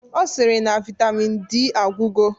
Ọ sịrị na Vaitamin D agwụgo